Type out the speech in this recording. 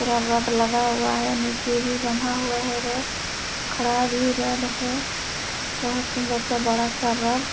पूरा रड लगा हुआ है निचे भी बंधा हुआ है र खड़ा भी रड है बहुत सुन्दर सा बड़ा सा रड --